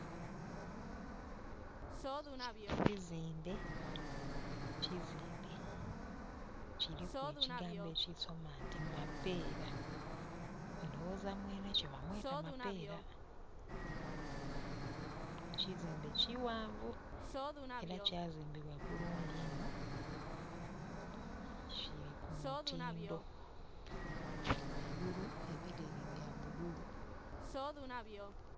Kino kizimbe, kizimbe kiriku ekigambo ekisoma nti mapera ndhoghoza mwene kyo ba mweta mapera. Ekizimbe kighanvu era kyazimbibwa bulungi iino kiri ku mu tindho gheigulu ebireri bya bululu.